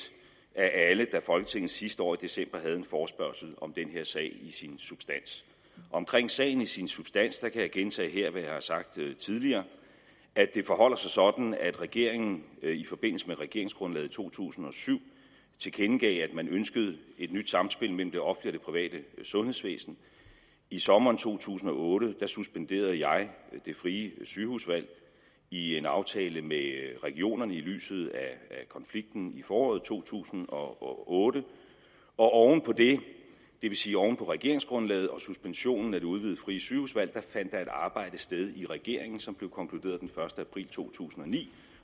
af alle da folketinget sidste år i december havde en forespørgsel om den her sag i sin substans omkring sagen i sin substans kan jeg gentage her hvad jeg har sagt tidligere at det forholder sig sådan at regeringen i forbindelse med regeringsgrundlaget to tusind og syv tilkendegav at man ønskede et nyt samspil mellem det offentlige private sundhedsvæsen i sommeren to tusind og otte suspenderede jeg det frie sygehusvalg i en aftale med regionerne i lyset af konflikten i foråret to tusind og otte og oven på det det vil sige oven på regeringsgrundlaget og suspensionen af det udvidede frie sygehusvalg fandt der et arbejde sted i regeringen som blev konkluderet den første april to tusind og ni